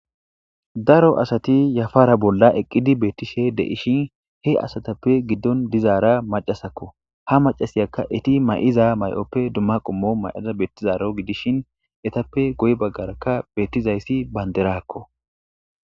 daro asati yafara bolla eqqidi beettishe de7ishin he asatappe giddon dizaara macasakko ha macasiyakka eti may7iza may7oppe dumma qommo may7ida beettizaro gidishin etappe goy baggarakka beettizayssi baynderakko